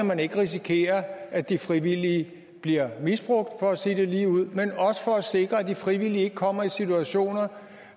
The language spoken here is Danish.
man ikke risikerer at de frivillige bliver misbrugt for at sige det ligeud men også for at sikre at de frivillige ikke kommer i situationer